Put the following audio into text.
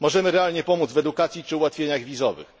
Możemy realnie pomóc w edukacji czy ułatwieniach wizowych.